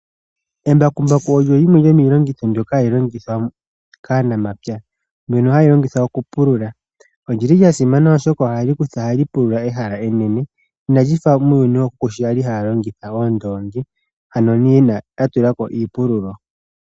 Embakumbaku olyo lyimwe lyomiilongitho mbyoka hayi longithwa kaanamapya, ndono hali longithwa okupulula. Olyi li lya simana oshoka ohali pulula ehala enene, ina lyi fa muuyuni wookuku sho yali haya longitha oondongi, ano uuna ya tula ko iipululo.